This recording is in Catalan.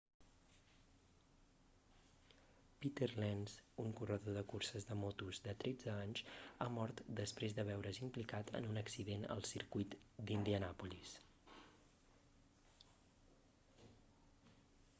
peter lenz un corredor de curses de motos de 13 anys ha mort després de veure's implicat en un accident al circuit d'indianàpolis